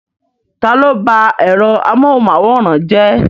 Ta ló bá ẹ̀rọ amóhunmáwòrán jẹ́?